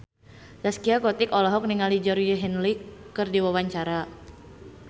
Zaskia Gotik olohok ningali Georgie Henley keur diwawancara